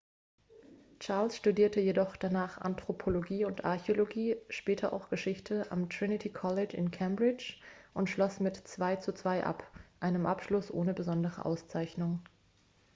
charles studierte jedoch danach anthropologie und archäologie später auch geschichte am trinity college in cambridge und schloss mit 2:2 ab einem abschluss ohne besondere auszeichnung